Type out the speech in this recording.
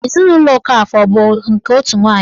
Ezinụlọ Okafọ abụ nke otu nwanyị?